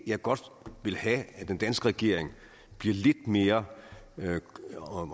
jeg godt vil have at den danske regering bliver lidt mere